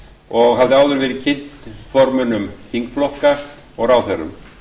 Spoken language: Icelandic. og hafði áður verið kynnt formönnum þingflokka og ráðherrum